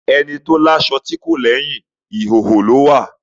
Ẹni tó láṣọ tí kò lééyàn, ìhóhò ló wà.